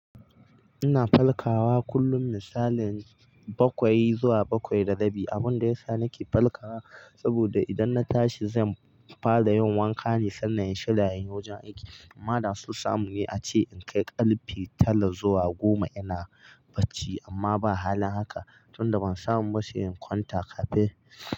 Ina falkawa kullum, misalin bakwai zuwa bakwai da rabi. Abunda yasa nake falkawa saboda idan na tashi zan fara yin wanka ne sannan in shirya inyi wajen aiki. Amma da so samune ace in kai ƙarfe tara zuwa goma ina bacci amma ba halin haka. Tun da ban samu mashayin kwanta kafin.